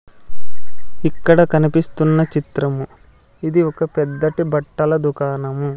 ఇక్కడ కనిపిస్తున్న చిత్రము ఇది ఒక పెద్దది బట్టల దుకాణము.